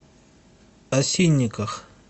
осинниках